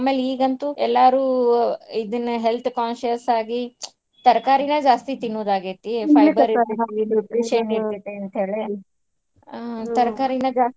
ಅಮ್ಯಾಲ್ ಈಗಂತೂ ಎಲ್ಲಾರು ಇದನ್ನೇ health conscious ಆಗಿ ತರಕಾರಿಗಳ್ ಜಾಸ್ತಿ ತಿನ್ನುದಾಗೇತಿ ಅಂತೇಳಿ ಆ ತರಕಾರಿನ ಜಾಸ್ತಿ.